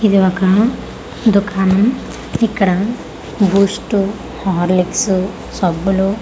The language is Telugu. ఇది ఒక దుకాణం ఇక్కడ బూస్ట్ హార్లిక్స్ సబ్బులు--